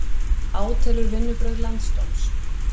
Átelur vinnubrögð landsdóms